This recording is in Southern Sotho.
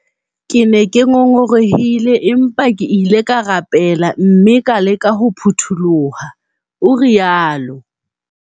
"Ke ne ke ngongorohile, empa ke ile ka rapele mme ka leka ho phuthuloha," o rialo.